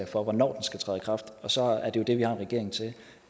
for hvornår den skal træde i kraft og så har vi jo en regering til